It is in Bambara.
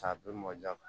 K'a bɛɛ mɔn ja ka